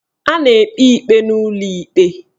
A na-ekpe ikpe n'ụlọ ikpe